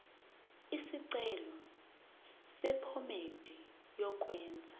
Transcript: isicelo sephomedi yokwenze